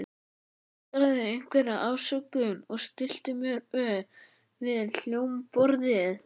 Ég tuldraði einhverja afsökun og stillti mér upp við hljómborðið.